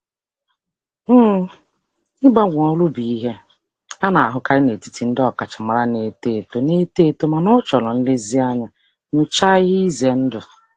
um Ịgbanwe ọrụ bụ ihe a na-ahụkarị n'etiti ndị ọkachamara na-eto eto na-eto eto mana ọ chọrọ nlezianya nyochaa ihe ize ndụ.